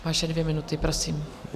Vaše dvě minuty, prosím.